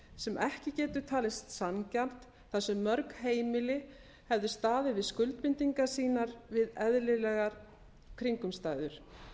sem ekki getur talist sanngjarnt þar sem mörg heimili hefðu staðið við skuldbindingar sínar við eðlilegar kringumstæður